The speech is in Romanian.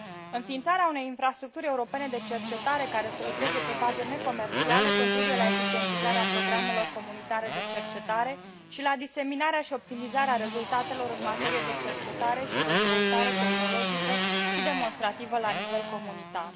Înființarea unei infrastructuri europene de cercetare care să lucreze pe baze necomerciale contribuie la eficientizarea programelor comunitare de cercetarea și la diseminarea și optimizarea rezultatelor în materie de cercetare și dezvoltare tehnologică și demonstrativă la nivel comunitar.